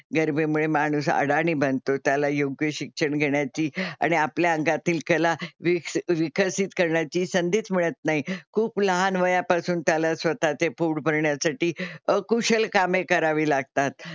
गरिबीमुळे माणूस अडाणी बनतो. त्याला योग्य शिक्षण घेण्याची आणि आपल्या अंगातील कला विक्स विकसित करण्याची संधीच मिळत नाही. खूप लहान वयापासून त्याला स्वतः चे पोट भरण्यासाठी अकुशल कामे करावी लागतात.